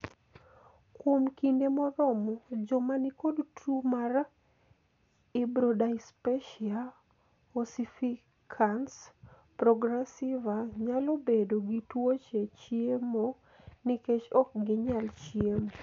kuom kinde moromo joma nikod tuo mar irbrodyspasia ossificans progressiva nyalo bedo gi tuoche chiemo nikech ok ginyal chiemo